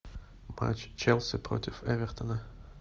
матч челси против эвертона